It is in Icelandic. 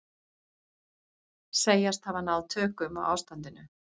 Segjast hafa náð tökum á ástandinu